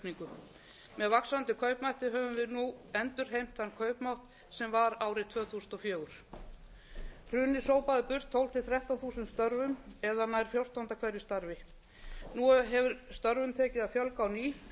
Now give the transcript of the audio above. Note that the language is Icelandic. kaupmáttaraukningu með vaxandi kaupmætti höfum við endurheimt þann kaupmátt sem var árið tvö þúsund og fjögur hrunið sópaði burt tólf til þrettán þúsund störfum eða nær fjórtánda hverju starfi nú hefur störfum tekið að fjölga á ný